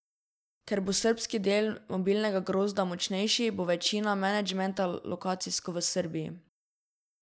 Ker bo srbski del mobilnega grozda močnejši, bo večina menedžmenta lokacijsko v Srbiji.